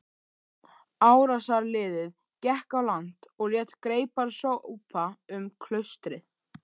Árásarliðið gekk á land og lét greipar sópa um klaustrið.